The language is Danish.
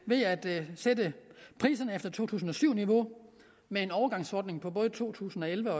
ved at sætte priserne efter to tusind og syv niveau med en overgangsordning for både to tusind og elleve